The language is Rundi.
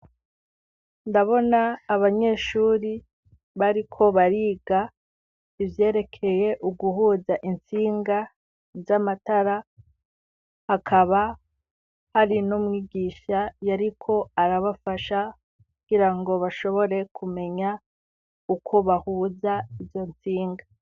Ndabona abanyeshuri bariko bariga ivyerekeye uguhuza intsinga z'amatara, hakaba hari n'umwigisha yariko arabafasha kugira ngo bashobore kumenya uko bahuza izo ntsinga.